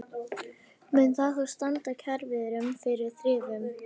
Mun það þá standa kjaraviðræðum fyrir þrifum?